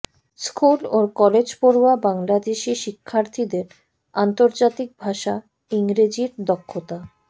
school ও কলেজপড়ুয়া বাংলাদেশি শিক্ষার্থীদের আন্তর্জাতিক ভাষা ইংরেজির দক্ষতা